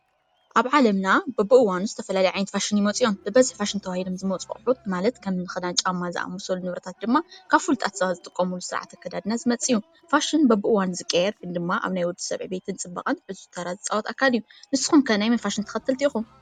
ኣብ ዓለምና በብእዋኑ ዝተፈላለዩ ፋሽን ይመፁ እዮም። ፋሽን እናተባህሉ ዝመፁ ኣቁሑት ማለት ከምኒ ኪዳን ጫማ ዝኣምሰሉ ድማ ካብ ፍሉጣት ሰባት ዝጥቀምሉ ዝመፅእ ስርዓት ኣከዳድና እዩ። ፋሽን በብእዋኑ ዝቀያየር ግን ድማ አብ ወዲሰብ ዕብየትን ፅባቀን ዕዙዝ ተራ ዝጫወት ኣካል እዩ። ንሱኩም ከ ናይ መን ፋሽን ተከተቲ ኢኩም?